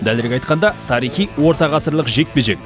дәлірек айтқанда тарихи орта ғасырлық жекпе жек